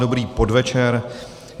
Dobrý podvečer.